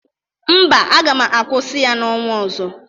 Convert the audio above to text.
Mba, aga m akwụsị ya n'ọnwa ọzọ.